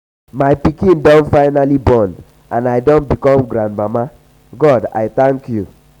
um my pikin do finally born and i don um become grandmama. god i thank you.